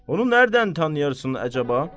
Onu hardan tanıyırsan əcaba?